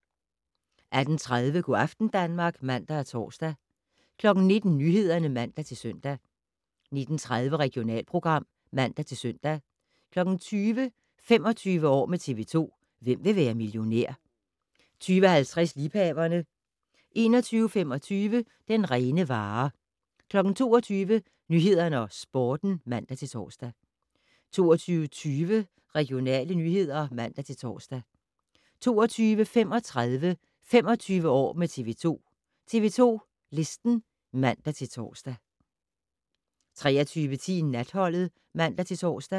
18:30: Go' aften Danmark (man-tor) 19:00: Nyhederne (man-søn) 19:30: Regionalprogram (man-søn) 20:00: 25 år med TV 2: Hvem vil være millionær? 20:50: Liebhaverne 21:25: Den rene vare 22:00: Nyhederne og Sporten (man-tor) 22:20: Regionale nyheder (man-tor) 22:35: 25 år med TV 2: TV 2 Listen (man-tor) 23:10: Natholdet (man-tor)